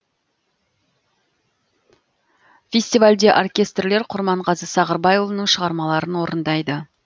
фестивальде оркестрлер құрманғазы сағырбайұлының шығармаларын орындайды